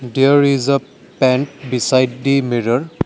there is a pant beside the mirror.